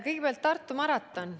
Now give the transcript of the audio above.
Kõigepealt, Tartu maraton.